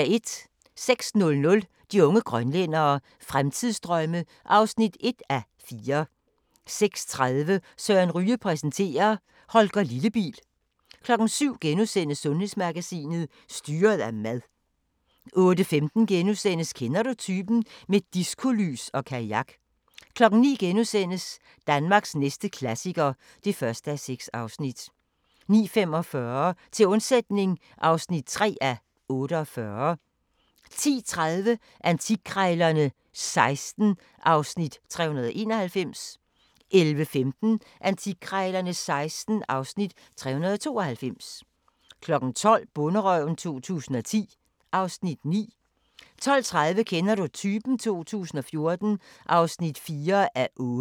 06:00: De unge grønlændere – Fremtidsdrømme (1:4) 06:30: Søren Ryge præsenterer: Holger Lillebil 07:00: Sundhedsmagasinet: Styret af mad * 08:15: Kender du typen? – med diskolys og kajak * 09:00: Danmarks næste klassiker (1:6)* 09:45: Til undsætning (3:48) 10:30: Antikkrejlerne XVI (Afs. 391) 11:15: Antikkrejlerne XVI (Afs. 392) 12:00: Bonderøven 2010 (Afs. 9) 12:30: Kender du typen? 2014 (4:8)